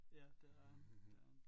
Ja det har han ja